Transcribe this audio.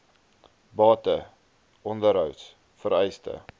bate onderhouds vereistes